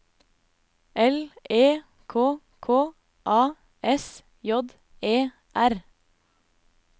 L E K K A S J E R